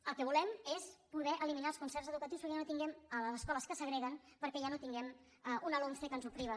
el que volem és poder eliminar els concerts educatius a les escoles que segreguen perquè ja no tinguem una lomce que ens ho priva